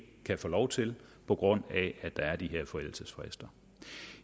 kan få lov til på grund af at der er de her forældelsesfrister